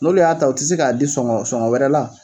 N'olu y'a ta u ti se k'a di sɔŋɔ sɔŋɔ wɛrɛ la